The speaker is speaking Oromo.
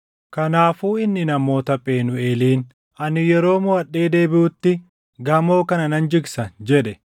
Kanaafuu inni namoota Phenuuʼeeliin, “Ani yeroo moʼadhee deebiʼutti gamoo kana nan jigsa” jedhe.